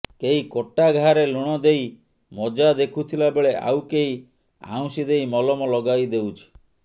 କେହି କଟା ଘାରେ ଲୁଣ ଦେଇ ମଜା ଦେଖୁଥିଲା ବେଳେ ଆଉ କେହି ଆଉଁସି ଦେଇ ମଲମ ଲଗାଇଦେଉଛି